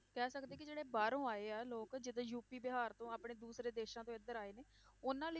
ਕਹਿ ਸਕਦੇ ਕਿ ਜਿਹੜੇ ਬਾਹਰੋਂ ਆਏ ਆ ਲੋਕ, ਜਿੱਦਾਂ ਯੂਪੀ ਬਿਹਾਰ ਤੋਂ ਆਪਣੇ ਦੂਸਰੇ ਦੇਸਾਂ ਤੋਂ ਇੱਧਰ ਆਏ ਨੇ, ਉਹਨਾਂ ਲਈ